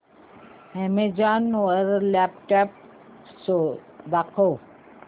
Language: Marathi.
अॅमेझॉन वर लॅपटॉप्स दाखव